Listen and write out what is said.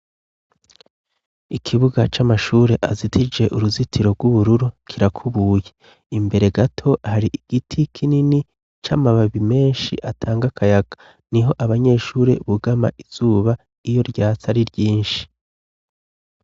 Ikibuga c'amashure azitije uruzitiro rw'ubururu kirakubuye, imbere gato hari igiti kinini c'amababi menshi atanga kayaka ,niho abanyeshuri bugama izuba iyo ryats' ari ryinshi.